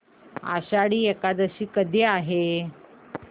आषाढी एकादशी कधी आहे